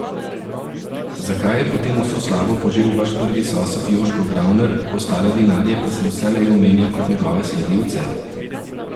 Zakaj je potem vso slavo požel vaš prvi sosed Joško Gravner, ostale vinarje pa se vselej omenja kot njegove sledilce?